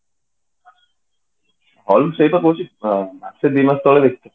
hall ସେଇତ କହୁଛି ମାସେ ଦି ମାସ ତଳେ ଦେଖିଥିଲି